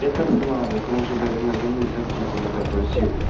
это славик он же блять мне звонил за аптеку мудак грузил